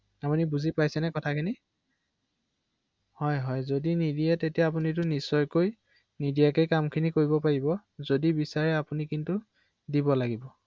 অ অ মানে লগালগ নিদিলে ভয় ৷নহয় জানো? হয়